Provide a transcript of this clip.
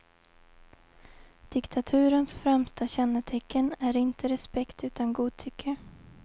Diktaturens främsta kännetecken är inte respekt utan godtycke.